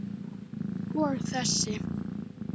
Og þessi?